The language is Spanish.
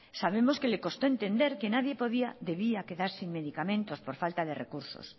sabemos que le costó entender que nadie podía debía quedar sin medicamentos por falta de recursos